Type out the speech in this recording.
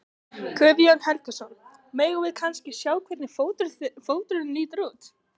Guðjón Helgason: Megum við kannski sjá hvernig fóturinn lítur út?